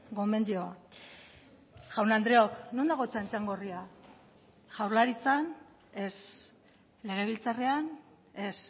gomendioa jaun andreok non dago txantxangorria jaurlaritzan ez legebiltzarrean ez